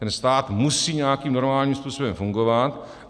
Ten stát musí nějakým normálním způsobem fungovat.